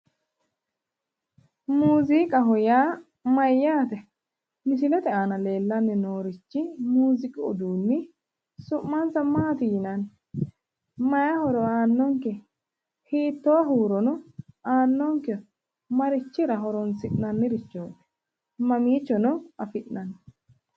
muziiqaho yaa mayyaate? misilete aana leellanni noorichi muziiqu uduunni su'mansa maati yinanni? mayi horo aannonkeho? hittoo huurono aannonkeho? marichira horonsi'nannirichooti? mamiichono afi'nanni?